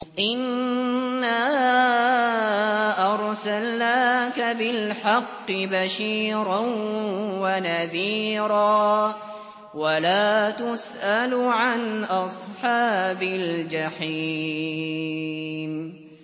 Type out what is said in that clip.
إِنَّا أَرْسَلْنَاكَ بِالْحَقِّ بَشِيرًا وَنَذِيرًا ۖ وَلَا تُسْأَلُ عَنْ أَصْحَابِ الْجَحِيمِ